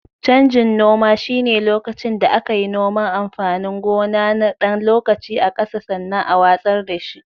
Canjin noma shine lokacin da aka yi noman amfanin gona na ɗan lokaci a ƙasa sannan a watsar da shi.